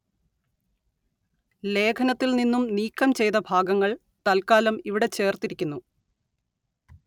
ലേഖനത്തില്‍ നിന്നും നീക്കം ചെയ്ത ഭാഗങ്ങള്‍ തല്‍ക്കാലം ഇവിടെ ചേര്‍ത്തിരിക്കുന്നു